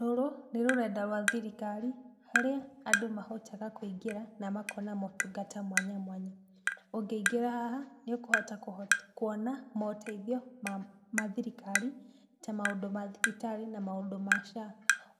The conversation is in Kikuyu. Rũrũ, nĩrũrenda rwa thirikari, rũrĩa andũ mahotaga kũigĩra, namakona motungata mwanyamwanya. Ũngĩingĩra haha nĩũkũhota kũhota kuona moteithio ma mathirikarĩ, ta maũndũ ma thibitarĩ, na maũndũ ma SHA,